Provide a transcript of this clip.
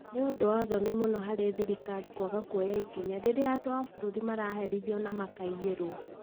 Nĩ ũndũ wa thoni mũno harĩ thirikari kwaga kuoya ikinya rĩrĩa andũ a bũrũri maraherithio na makaiyirwo